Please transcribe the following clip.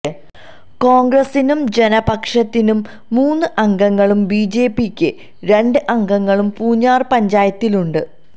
കോണ്ഗ്രസ്സിനും ജനപക്ഷത്തിനും മൂന്ന് അംഗങ്ങളും ബിജെപിക്ക് രണ്ട് അഗംങ്ങളും പൂഞ്ഞാര് പഞ്ചായത്തിലുണ്ട്